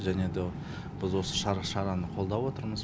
және де біз осы шараны қолдап отырмыз